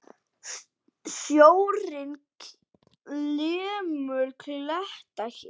Sjórinn lemur kletta hér.